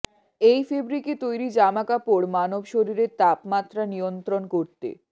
এই ফ্যাব্রিকে তৈরি জামা কাপড় মানব শরীরের তাপমাত্রা নিয়ন্ত্রণ করতে